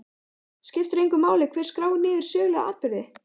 Skiptir engu máli hver skráir niður sögulega atburði?